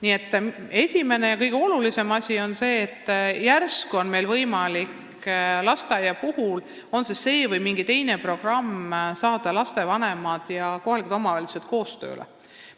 Nii et esimene ja kõige olulisem asi on luua lasteaedadele mingi programm, et lapsevanemad ja kohalikud omavalitsused koostööd tegema saada.